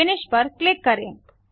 finish पर click करें